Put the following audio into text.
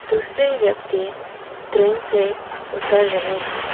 दूसरे व्यक्ति ट्रेन से उतर रहे हैं।